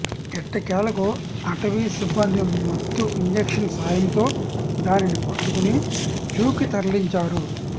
ఎట్టకేలకు అటవీ సిబ్బంది మత్తు ఇంజెక్షన్ సాయంతో దానిని పట్టుకుని జూకి తరలించారు